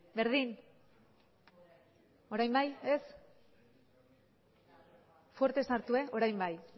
berdin orain bai ez fuerte sartu orain bai